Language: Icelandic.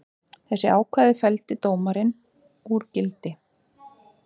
Þessi ákvæði felldi dómarinn úr gildi